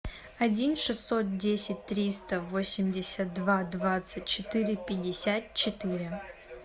один шестьсот десять триста восемьдесят два двадцать четыре пятьдесят четыре